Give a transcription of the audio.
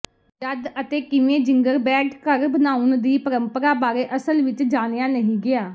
ਜਦ ਅਤੇ ਕਿਵੇਂ ਜਿੰਗਰਬੈੱਡ ਘਰ ਬਣਾਉਣ ਦੀ ਪਰੰਪਰਾ ਬਾਰੇ ਅਸਲ ਵਿੱਚ ਜਾਣਿਆ ਨਹੀਂ ਗਿਆ